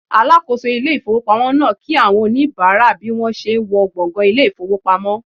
Alakoso ile ifowopamo naa ki awon onibara bi won se n wo gbongan ile ifowpamo